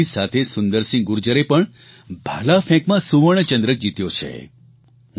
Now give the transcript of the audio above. અને તેમની સાથે સુંદરસિંહ ગુર્જરે પણ ભાલાફેંકમાં સુવર્ણચંદ્રક જીત્યો છે